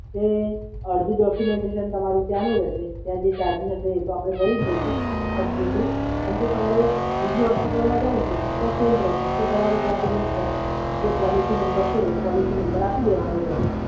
એ અડધું ડોક્યુમેન્ટેશન તમારું ત્યાંનું રહેશે, ત્યાં જે ચાર્જિસ હશે એ તો આપણે ભરી જ દઇશું, કંપની થ્રુ. પણ જો તમારે બીજી હોસ્પિટલમાં જવું છે તો આ સેમ પ્રોસેસ છે તો તમારે ત્યાં જઈને પ્રોસેસ, જે પોલિસી નંબર જે છે એ નંબર આપી દેવાનો રહેશે.